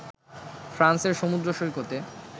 ফ্রান্সের সমুদ্র সৈকতে